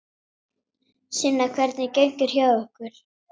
Sunna: Hvernig gengur hjá ykkur?